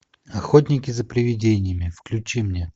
охотники за привидениями включи мне